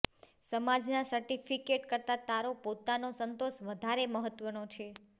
સમાજના સર્ટિફ્કિેટ કરતાં તારો પોતાનો સંતોષ વધારે મહત્ત્વનો છે